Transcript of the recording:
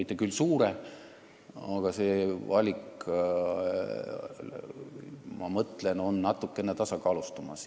Aga jah, ma mõtlen, et need valikud on natuke tasakaalustumas.